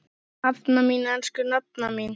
Nafna mín, elsku nafna mín.